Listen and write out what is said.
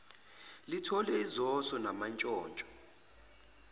lithole izoso namantshontsho